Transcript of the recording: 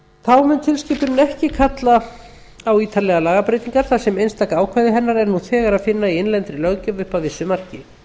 þá mun tilskipunin ekki kalla á ítarlegar lagabreytingar þar sem einstaka ákvæði hennar er nú þegar að finna í innlendri löggjöf upp að vissu marki